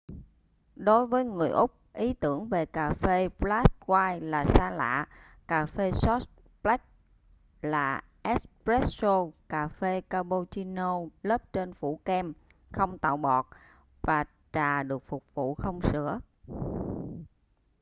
đối với người úc ý tưởng về cà phê ‘flat white’ là xa lạ. cà phê short black là ‘espresso’ cà phê capuchino lớp trên phủ kem không tạo bọt và trà được phục vụ không sữa